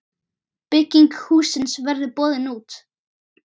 Bygging hússins verður boðin út.